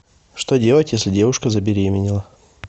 что делать если девушка забеременела